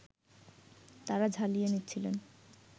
তাঁরা ঝালিয়ে নিচ্ছিলেন